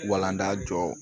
Walanda jɔ